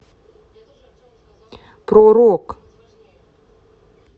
про рок